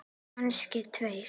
Kannski tveir.